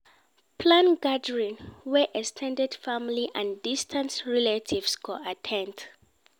Plan gatherings wey ex ten ded family and distant relatives go at ten d